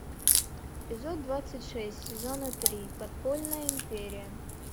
эпизод двадцать шесть сезона три подпольная империя